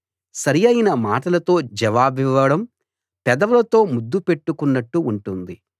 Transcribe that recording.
సరియైన మాటలతో జవాబివ్వడం పెదవులతో ముద్దు పెట్టుకున్నట్టు ఉంటుంది